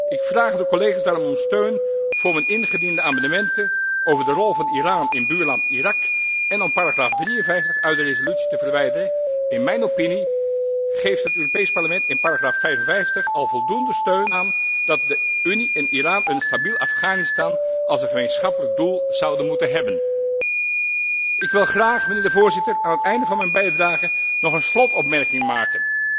Ik vraag de collega's daarom om steun voor mijn ingediende amendementen over de rol van Iran in buurland Irak en om paragraaf 53 uit de resolutie te verwijderen. In mijn opinie geeft het Europees Parlement in paragraaf 55 al voldoende steun aan het idee dat de Unie en Iran een stabiel Afghanistan als gemeenschappelijk doel zouden moeten hebben. Ik wil graag, Voorzitter, aan het einde van mijn bijdrage nog een slotopmerking maken.